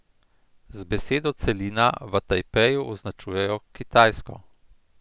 Z besedo celina v Tajpeju označujejo Kitajsko.